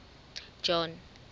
john